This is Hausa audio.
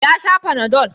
Ya sha panadol.